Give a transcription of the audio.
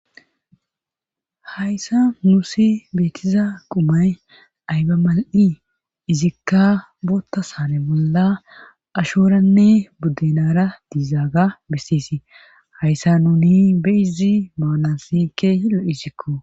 hayssa nusi beetiza qumay ayba mal7i izikka bootta saane bolla ashoranne buddenara diizaaga beseesi hayssa nuni beyizi maanasi kehi lo7isikko